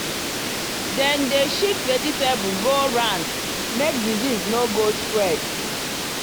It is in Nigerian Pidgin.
dem dey shift vegetable go round make disease no go spread.